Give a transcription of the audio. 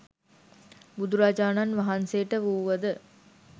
බුදුරජාණන් වහන්සේට වූවද